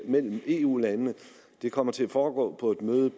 imellem eu landene dette kommer til at foregå på et møde